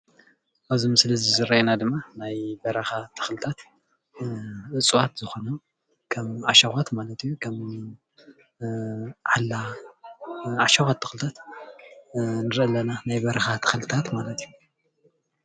ኣብዚ ምስሊ እዚ ዝርአየና ድማ ናይ በረኻ ተኽልታት እጸዋት ዝኮኑ ዓሻዃት ማለት ዩ ከም ዓላ ዓሻካት ተኽልታት ንርኢ ኣለና ናይ በረካ ተክልታት ማለት እዩ።